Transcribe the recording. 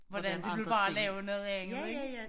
Hvordan det ville være at lave noget andet ikke